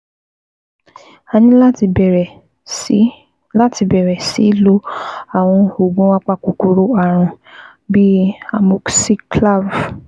A ní láti bẹ̀rẹ̀ sí láti bẹ̀rẹ̀ sí lo àwọn oògùn apakòkòrò ààrùn bíi amoxiclav